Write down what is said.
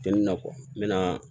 Tɛ nin na n mɛna